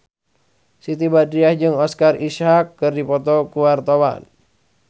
Siti Badriah jeung Oscar Isaac keur dipoto ku wartawan